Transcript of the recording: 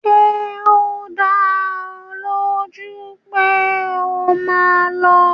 Ṣé o dá ọ lójú pé o máa lọ?